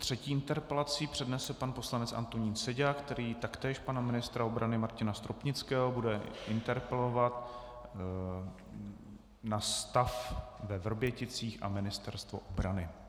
Třetí interpelaci přednese pan poslanec Antonín Seďa, který taktéž pana ministra obrany Martina Stropnického bude interpelovat na stav ve Vrběticích a Ministerstvu obrany.